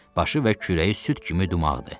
Başı və kürəyi süd kimi dumağdı.